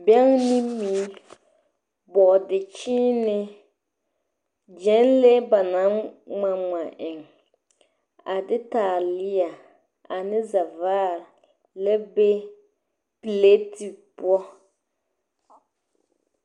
Bɛŋɛ ne mui, bɔɔdekyeene, gyɛnlee ba naŋ ŋma ŋma eŋ, a de taaleɛ, ane sɛvaare la ba pileti poɔ.